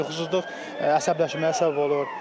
Yuxusuzluq əsəbləşməyə səbəb olur.